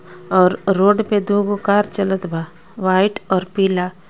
और रोड पे दो गो कार चलत बा व्हाइट और पीला।